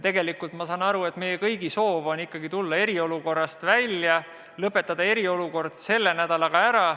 Tegelikult ma saan aru, et meie kõigi soov on tulla ikkagi eriolukorrast välja, lõpetada eriolukord selle nädalaga ära.